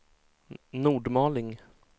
Nordmaling